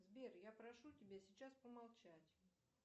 сбер я прошу тебя сейчас помолчать